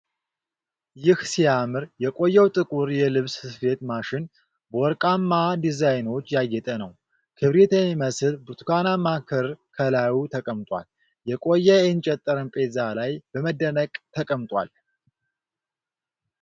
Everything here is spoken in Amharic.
ይህ ሲያምር የቆየው ጥቁር የልብስ ስፌት ማሽን በወርቃማ ዲዛይኖች ያጌጠ ነው። ክብሪት የሚመስል ብርቱካናማ ክር ከላይ ተቀምጦ፣ የቆየ የእንጨት ጠረጴዛ ላይ በመደነቅ ተቀምጧል።